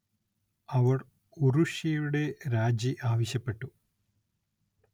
അവർ ഉറുഷ്യയുടെ രാജി ആവശ്യപ്പെട്ടു.